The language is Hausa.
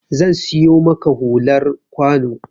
Zan siyo maka hular kwano